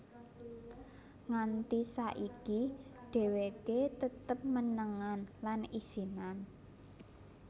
Nganti saiki dheweké tetep menengan lan isinan